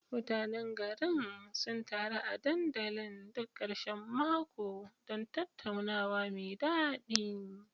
Mutanen garin sun taru a dandalin duk karshen mako don tattaunawa mai dadi.